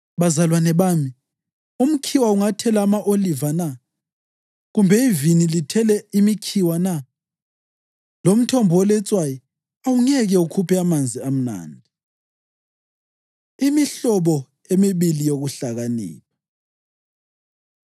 Bazalwane bami, umkhiwa ungathela ama-oliva na, kumbe ivini lithele imikhiwa na? Lomthombo oletswayi awungeke ukhuphe amanzi amnandi. Imihlobo Emibili Yokuhlakanipha